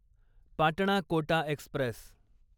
Patna Kota Express